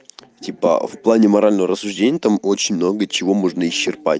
типа в плане морального рассуждения там очень много чего можно исчерпать